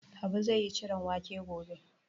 Habu zai yi ciron wake gobe.